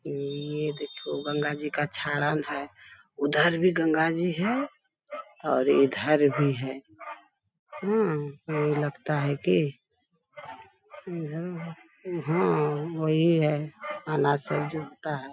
ये देखो गंगा जी का छाड़ल है। उधर भी गंगा जी हैं और इधर भी हैं। हूँ ये लगता है की इधर हाँ वही है अनाज सब जुटता है।